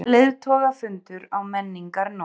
Leiðtogafundur á Menningarnótt